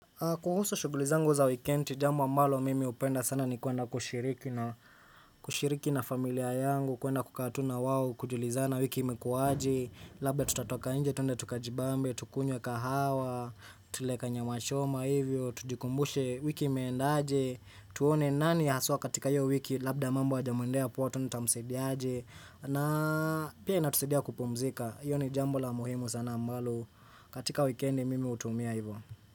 Kuhusu shugulizangu za wikendi, jamu amalo mimi upenda sana ni kuenda kushiriki na familia yangu, kuenda kukaa tu na wao, kujulizana wiki imekuwaje, labda tutatoka inje, tunde tukajibambe, tukunye kahawa, tule kanyama choma hivyo, tujikumbushe wiki imeenda aje, tuone nani haswa katika hiyo wiki labda mambo hayajamuendea poa tuone tunutamusadia aje, na pia inatusidia kupomzika, iyo ni jamu la muhimu sana amalo, katika wikendi mimi utumia hivyo.